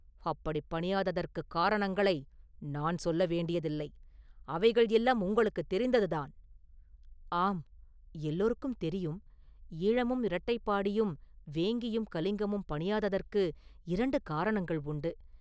அப்படிப் பணியாததற்குக் காரணங்களை நான் சொல்ல வேண்டியதில்லை; அவைகள் எல்லாம் உங்களுக்குத் தெரிந்ததுதான்!… ஆம்; எல்லோருக்கும் தெரியும்; ஈழமும் இரட்டைப்பாடியும் வேங்கியும் கலிங்கமும் பணியாததற்கு இரண்டு காரணங்கள் உண்டு.